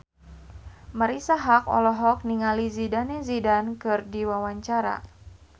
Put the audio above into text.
Marisa Haque olohok ningali Zidane Zidane keur diwawancara